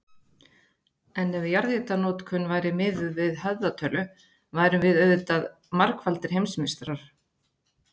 En ef jarðhitanotkunin væri miðuð við höfðatölu værum við auðvitað margfaldir heimsmeistarar.